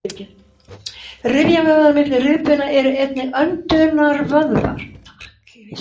Rifjavöðvar milli rifbeina eru einnig öndunarvöðvar.